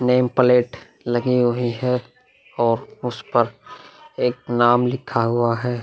Nameplate लगी हुई है और उस पर एक नाम लिख हुआ है।